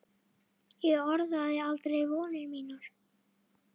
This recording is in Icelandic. Ég orðaði aldrei vonir mínar.